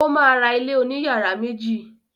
O ma ra ilé òní yàrá méjì.